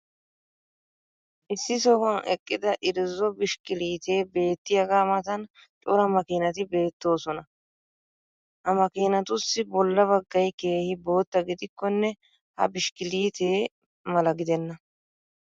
issi sohuwan eqqida irzzo bishkkiliitee beetiyaaga matan cora makiinati beetoosona. ha makkiinatussi bola bagay keehi bootta gidikkonne ha bishkiliitee ma; la gidenna.